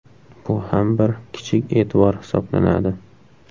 Bu ham bir kichik e’tibor hisoblanadi.